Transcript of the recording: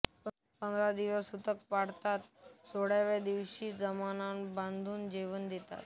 पंधरा दिवस सुतक पाळतात व सोळाव्या दिवशी सर्व जमातबंधूंना जेवण देतात